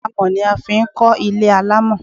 Amọ̀ ni a fi ń kọ́ ń kọ́ ilé alámọ̀